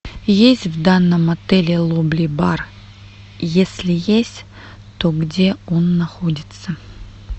есть в данном отеле лобби бар если есть то где он находится